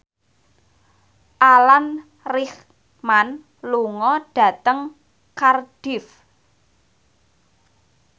Alan Rickman lunga dhateng Cardiff